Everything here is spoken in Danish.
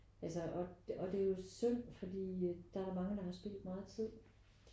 Altså og og det er jo synd fordi der er mange der har spildt meget tid